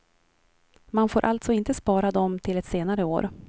Man får alltså inte spara dem till ett senare år.